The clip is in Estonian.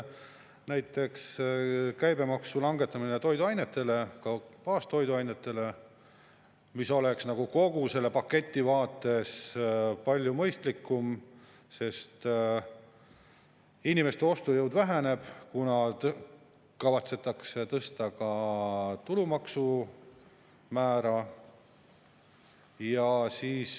Näiteks käibemaksu langetamine toiduainetel, baastoiduainetel, mis oleks nagu kogu selle paketi vaates palju mõistlikum, sest inimeste ostujõud väheneb, kuna kavatsetakse tõsta ka tulumaksumäära.